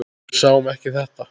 Við sáum ekki þetta!